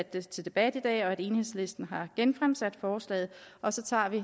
det til debat i dag og at enhedslisten har genfremsat forslaget og så tager vi